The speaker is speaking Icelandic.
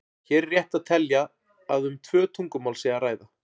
Hér er rétt að telja að um tvö tungumál sé að ræða.